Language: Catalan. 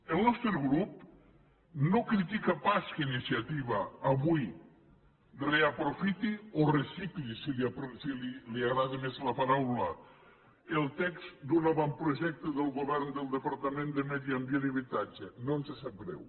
el nostre grup no critica pas que iniciativa avui reaprofiti o recicli si li agrada més la paraula el text d’un avantprojecte del govern del departament de medi ambient i habitatge no ens sap greu